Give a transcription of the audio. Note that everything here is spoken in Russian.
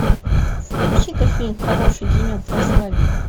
включи ка фильм хороший денек для свадьбы